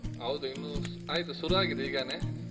ಹೌದು ಇನ್ನು ಆಯ್ತು, ಸುರು ಆಗಿದೆ ಈಗನೇ.